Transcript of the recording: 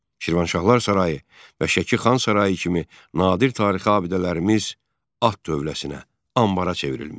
Şirvanşahlar sarayı və Şəki Xan sarayı kimi nadir tarixi abidələrimiz at dövləsinə anbara çevrilmişdi.